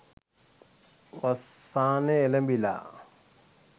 වස්සානය එලඹිලා.